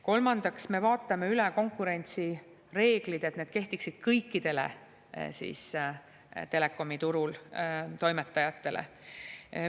Kolmandaks, me vaatame üle konkurentsireeglid, et need kehtiksid kõikidele telekomiturul toimetajatele.